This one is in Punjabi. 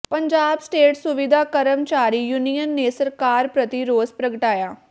ਪੰਜਾਬ ਸਟੇਟ ਸੁਵਿਧਾ ਕਰਮਚਾਰੀ ਯੂਨੀਅਨ ਨੇ ਸਰਕਾਰ ਪ੍ਰਤੀ ਰੋਸ ਪ੍ਰਗਟਾਇਆ